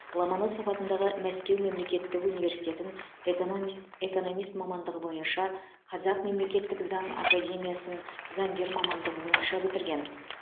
ломоносов атындағы мәскеу мемлекеттік университетін эканамист экономист мамандығы бойынша қазақ мемлекеттік заң академиясын заңгер мамандығы бойынша бітірген